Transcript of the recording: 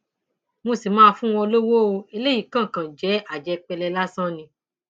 mo sì máa fún wọn lọwọ o eléyìí kan kan jẹ àjẹpẹlẹ lásán ni